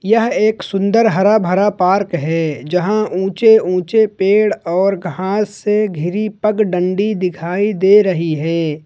यह एक सुंदर हरा भरा पार्क है जहां ऊंचे ऊंचे पेड़ और घास से घिरी पगडंडी दिखाई दे रही है।